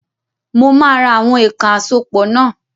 Mo ma ra àwọn èèkàn àsopọ̀ náà.